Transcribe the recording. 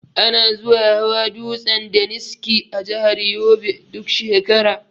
Ana zuwa hawa dutsen daniski a jahar yobe duk shekara